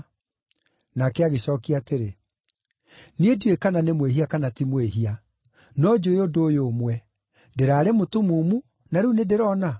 Nake agĩcookia atĩrĩ, “Niĩ ndiũĩ kana nĩ mwĩhia kana ti mwĩhia. No njũũĩ ũndũ ũyũ ũmwe; ndĩraarĩ mũtumumu na rĩu nĩndĩrona!”